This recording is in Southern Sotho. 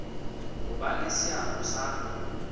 ho ba le seabo sa